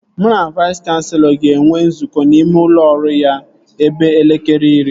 Mụ na Vais kanselọ ga-enwe nzukọ n'ime ụlọ ọrụ ya ebe elekere iri